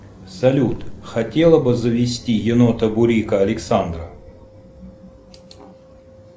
салют хотела бы завести енота бурика александра